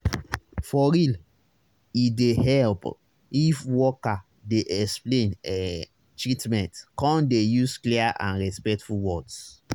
for real e dey help if worker dey explain ehh treatment come dey use clear and respectful words